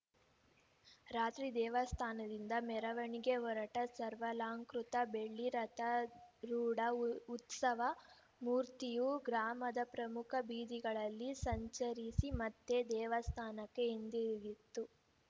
ರಾತ್ರಿ ದೇವಸ್ಥಾನದಿಂದ ಮೆರವಣಿಗೆ ಹೊರಟ ಸರ್ವಾಲಂಕೃತ ಬೆಳ್ಳಿ ರಥಾರೂಢ ಉತ್ಸವ ಮೂರ್ತಿಯು ಗ್ರಾಮದ ಪ್ರಮುಖ ಬೀದಿಗಳಲ್ಲಿ ಸಂಚರಿಸಿ ಮತ್ತೆ ದೇವಸ್ಥಾನಕ್ಕೆ ಹಿಂದಿರುಗಿತು